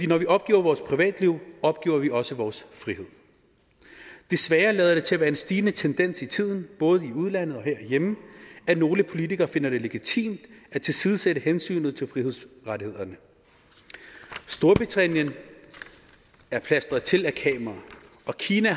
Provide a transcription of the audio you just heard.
når vi opgiver vores privatliv opgiver vi også vores frihed desværre lader det til at være en stigende tendens i tiden både i udlandet og herhjemme at nogle politikere finder det legitimt at tilsidesætte hensynet til frihedsrettighederne storbritannien er plastret til med kameraer og kina